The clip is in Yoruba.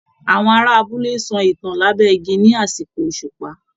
Àwọn ará abúlé ń sọ ìtàn lábẹ́ igi ní àsìkò òṣùpá